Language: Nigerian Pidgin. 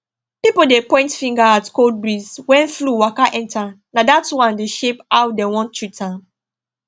pipo dey point finger at cold breeze when flu waka enter na dat one dey shape how dem wan treat am